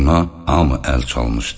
Buna hamı əl çalmışdı.